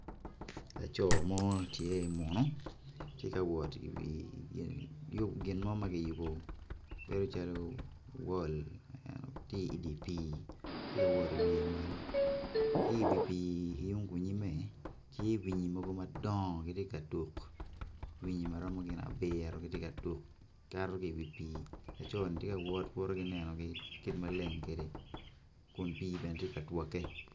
Laco mo acel munu tye kawot i wi gin mo magiyubo bedo calo wol tye idi pi tye wot i wiye malo ki wi pi i yung kunyime tye ri mogo madongo gitye ka tuk ri maromo gin abiro gitye ka tuk cito ki wi pi laconi tye ka wot woto ki nenogi kit ma leng kede kun tye bene tye ka dwote.